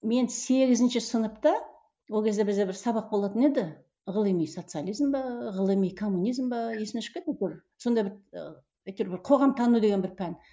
мен сегізінші сынапта ол кезде бізде бір сабақ болатын еді ғылыми социализм бе ғылыми коммунизм бе есімнен шығып кетіпті әйтеуір сондай бір ы әйтеуір бір қоғамтану деген бір пән